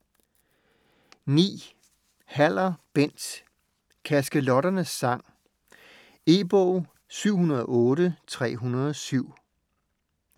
Haller, Bent: Kaskelotternes sang E-bog 708307